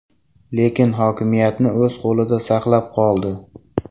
Lekin hokimiyatni o‘z qo‘lida saqlab qoldi.